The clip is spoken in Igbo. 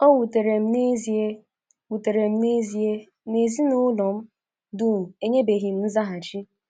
O wutere m n’ezie wutere m n’ezie na ezinụlọ m dum enyebeghi nzaghachi.